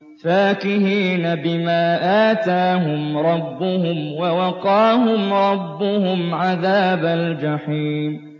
فَاكِهِينَ بِمَا آتَاهُمْ رَبُّهُمْ وَوَقَاهُمْ رَبُّهُمْ عَذَابَ الْجَحِيمِ